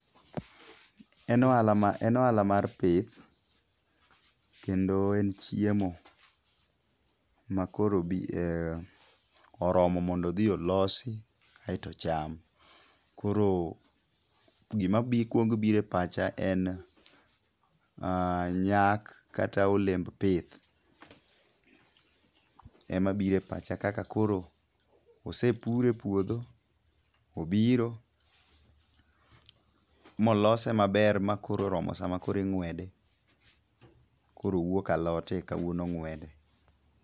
En ohala ma, en ohala mar pith, kendo en chiemo. Ma koro bi, oromo mondo dhi olosi, aeto cham. Koro gima bi, kuong biro e pacha en nyak kata olemb pith. Emabiro e pacha kaka koro osepure puodho, obiro, molose maber ma koro oromo sama koro ing'wede, koro owuok alot e kawuono ong'wede.